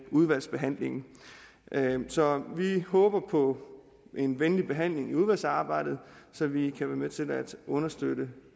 udvalgsbehandlingen så vi håber på en venlig behandling i udvalgsarbejdet så vi kan være med til at understøtte